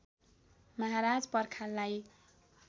महाराज पर्खाललाई